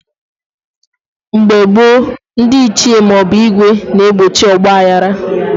Mgbe gboo, ndị Ichie maọbụ ìgwè na egbochi ọgba aghara